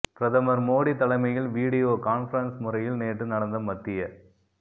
பிரதமர் மோடி தலைமையில் video conference முறையில் நேற்று நடந்த மத்திய